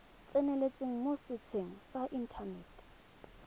tseneletseng mo setsheng sa inthanete